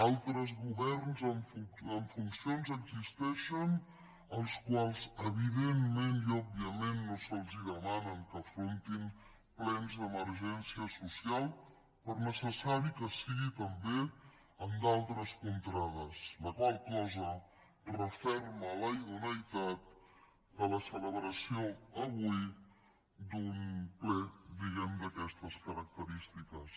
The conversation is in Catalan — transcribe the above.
altres governs en funcions existeixen als quals evidentment i òbviament no se’ls demana que afrontin plens d’emergència social per necessari que sigui també en d’altres contrades la qual cosa referma la idoneïtat de la celebració avui d’un ple diguem ne d’aquestes característiques